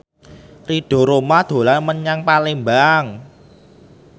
Ridho Roma dolan menyang Palembang